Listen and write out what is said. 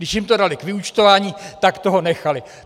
Když jim to dali k vyúčtování, tak toho nechali.